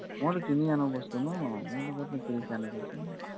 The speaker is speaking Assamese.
মইটো কিনি আনো বস্তু ন